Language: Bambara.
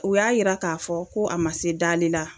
O y'a yira k'a fɔ ko a ma se dali la